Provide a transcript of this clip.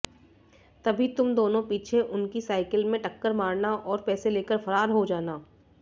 तभी तुम दोनों पीछे उनकी साइकिल में टक्कर मारना और पैसे लेकर फरार हो जाना